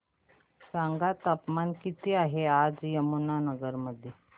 सांगा तापमान किती आहे आज यमुनानगर मध्ये